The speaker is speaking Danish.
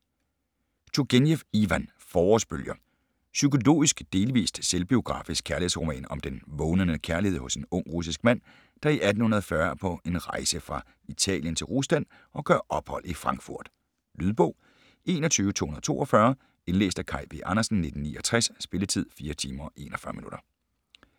Turgenev, Ivan: Forårsbølger Psykologisk, delvis selvbiografisk kærlighedsroman om den vågnende kærlighed hos en ung russisk mand, der i 1840 er på en rejse fra Italien til Rusland og gør ophold i Frankfurt. Lydbog 21242 Indlæst af Kaj V. Andersen, 1969. Spilletid: 4 timer, 41 minutter.